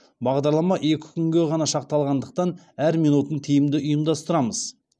бағдарлама екі күнге ғана шақталғандықтан әр минутын тиімді ұйымдастырамыз